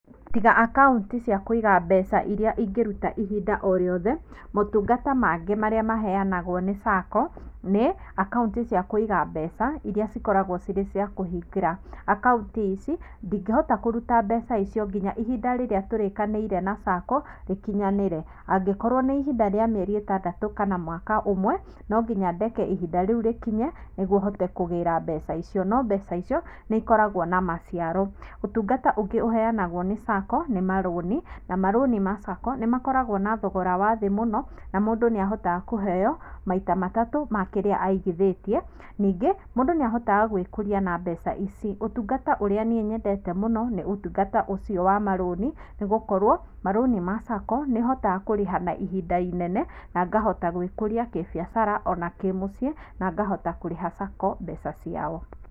Tiga akaunti cia kũiga mbeca iria ũngĩruta ihinda o rĩothe, motungata mangĩ marĩa maheanagwo nĩ sacco nĩ akaunti cia kũiga mbeca iria cikoragwo cirĩ cia kũhingĩra, akaunti ici ndingĩhota kũruta mbeca icio nginya ihinda rĩrĩa tũretĩkanĩire na sacco rĩkinyanĩre angĩkorwo nĩ ihinda rĩa mĩeri ĩtandatũ kana mwaka ũmwe nonginya ndeke ihinda rĩu rĩkinye nĩguo hote kũgera mbeca icio, no mbeca icio nĩikoragwo na maciaro . Ũtũngata ũngĩ uheanagũo nĩ sacco nĩmarũni na marũni ma sacco nĩmakũragwo na thogora wa thĩĩ mũno na mũndũ nĩahotaga kũheo maita matatũ ma kĩrĩa aigithĩtie, ningĩ mũndũ nĩahotaga gwĩkũria na mbeca ici. Ũtungata ũrĩa niĩ nyendete mũno nĩ ũtungata ũcio wa marũni nĩgũkorwo marũni ma sacco nĩhotaga kũrĩha na ihinda inene na ngahota gwĩkũria kĩbiacara ona kĩmũciĩ na ngahota kũrĩha sacco mbeca ciao.